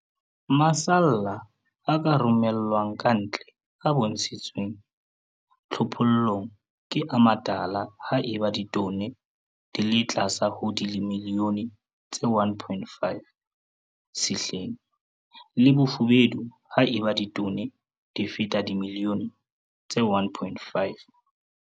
Masalla a ka romellwang ka ntle a bontshitsweng tlhophollong ke a matala ha eba ditone di le tlase ho dimilione tse 1,5 sehleng, le bofubedu ha eba ditone di feta dimilione tse 1,5.